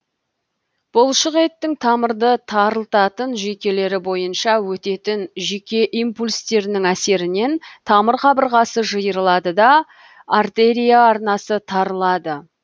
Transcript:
бұлшық еттің тамырды тарылтатын жүйкелері бойынша өтетін жүйке импульстерінің әсерінен тамыр қабырғасы жиырылады да артерия арнасы тарылады